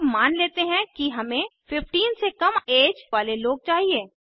अब मान लेते हैं कि हमें 15 से कम ऐज वाले लोग चाहिए